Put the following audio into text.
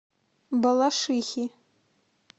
балашихи